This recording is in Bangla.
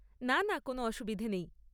না, না, কোনো অসুবিধে নেই।